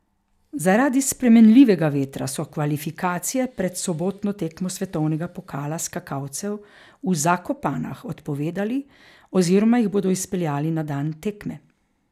Zaradi spremenljivega vetra so kvalifikacije pred sobotno tekmo svetovnega pokala skakalcev v Zakopanah odpovedali oziroma jih bodo izpeljali na dan tekme.